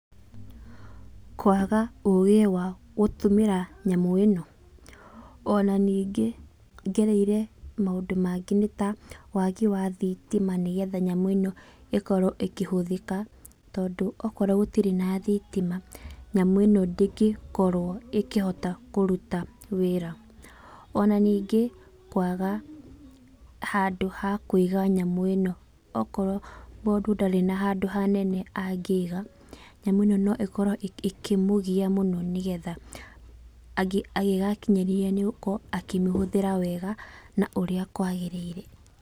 Kwaga ũgĩ wa gũtũmĩra nyamũ ĩno, ona ningĩ ngereire maũndũ mangĩ nĩta, wagi wa thitima nĩgetha nyamũ ĩno ĩkorwo ĩkĩhũthĩka, tondũ okorwo gũtirĩ na thitima, nyamũ ĩno ndĩngĩkorwo ĩkĩhota kũruta wĩra. Ona ningĩ kwaga handũ ha kũiga nyamũ ĩno. Okorwo mũndũ ndarĩ na handũ hanene angĩiga, nyamũ ĩno no ĩkorwo ĩkĩmũgia mũno nĩgetha, angĩ agĩgakinyĩria nĩ gũkorwo akĩmĩhũthĩra wega, na ũrĩa kwagĩrĩire.